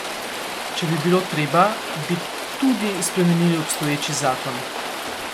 Če bi bilo treba, bi tudi spremenili obstoječi zakon.